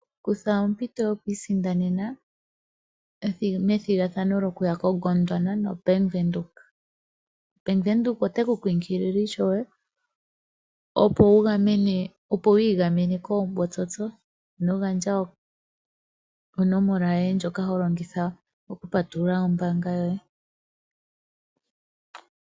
Kutha ompito yokwiisindanena methigathano lyokuya koGondwana noBank Windhoek. Bank Windhoek ote ku kunkilile ishewe, opo wu igamene koombotsotso. Ino gandja onomola yoye ndjoka ho longitha oku patulula ombaanga yoye.